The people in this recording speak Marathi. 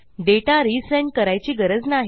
डेटा रिझेंड करायची गरज नाही